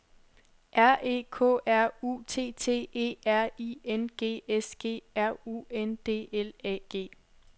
R E K R U T T E R I N G S G R U N D L A G